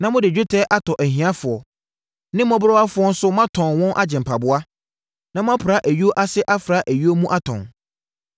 na mode dwetɛ atɔ ahiafoɔ na mmɔborɔwafoɔ nso moatɔn wɔn agye mpaboa, na moapra ayuo ase afra ayuo mu atɔn.